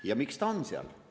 Ja miks ta seal on?